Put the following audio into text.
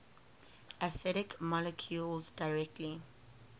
acidic molecules directly